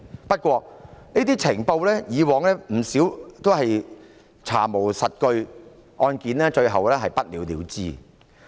不過，以往不少這些情報均是查無實據，案件最後不了了之。